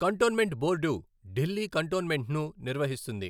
Cantonment board Delhi కంటోన్మెంట్ను నిర్వహిస్తుంది.